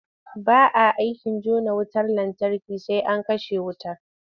Ba a aikin jona wutar lantarki sai an kashe wutar.